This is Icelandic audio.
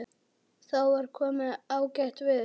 Þá var komið ágætt veður.